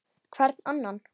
Hvern annan!